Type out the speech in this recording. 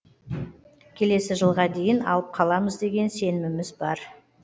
келесі жылға дейін алып қаламыз деген сеніміміз бар